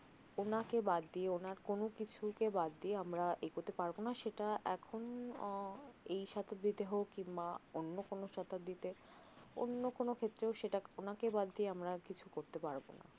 ওনাকে বাদ দিয়ে ওনার কোনও কিছুকে বাদ দিয়ে আমরা এগোতে পারবনা সেটা এখন এই সতাব্ধি তে হোক কিংবা অন্য কোনও সতাব্দিতে অন্য কোনও ক্ষেত্রেও সেটা ওনাকে বাদ দিয়ে আমরা কিছু করতে পারবনা